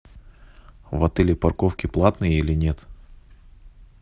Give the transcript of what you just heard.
в отеле парковки платные или нет